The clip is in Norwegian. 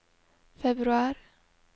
februar